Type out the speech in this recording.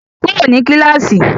Kúrò ní kíláàsì!